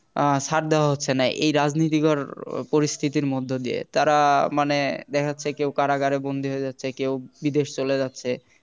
আহ ছাড় দেওয়া হচ্ছে না এই রাজনীতিকর পরিস্থিতির মধ্য দিয়ে তারা মানে দেখা যাচ্ছে কেউ কারাগারে বন্দী হয়ে যাচ্ছে, কেউ বিদেশ চলে যাচ্ছে